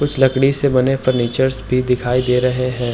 लकड़ी से बने फर्नीचर्स भी दिखाई दे रहे हैं।